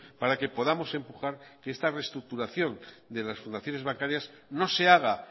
para que podamos empujar que esta restructuración de las fundaciones bancarias no se haga